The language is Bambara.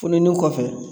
Funtenin kɔfɛ